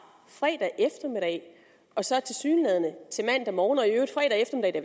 fredag eftermiddag og så tilsyneladende til mandag morgen